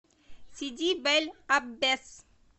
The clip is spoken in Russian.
сиди бель аббес